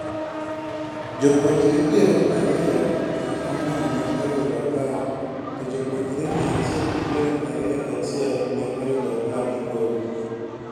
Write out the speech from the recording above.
Jopuonjre piero ariyo gi ang'wen ne oyudo A to jopuonjre mia achiel gi pieri ariyo gi achiel ne oyudo A- (migolo).